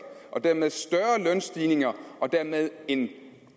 og dermed større lønstigninger og dermed en